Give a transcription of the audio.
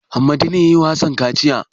Hammada ne ya yi wa Hassan kaciya?